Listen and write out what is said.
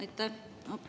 Aitäh!